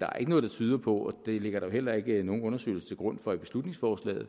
er ikke noget der tyder på og det ligger der jo heller ikke nogen undersøgelser til grund for i beslutningsforslaget